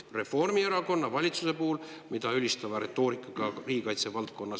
Reformierakonna valitsuse tegevust riigikaitse valdkonnas ülistava retoorikaga esines härra Vaga …